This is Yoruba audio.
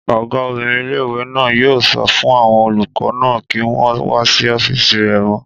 Ọgá obìnrin ilé-ìwé náà yóò sọ fún àwọn olùkọ́ náà kí wọ́n wá sí ọ́fìsì rẹ̀ mọ́